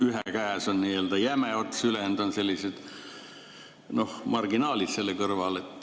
Ühe käes on jäme ots, ülejäänud on sellised marginaalid selle kõrval.